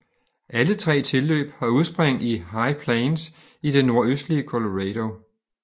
Alle tre tilløb har udspring i High Plains i det nordøstlige Colorado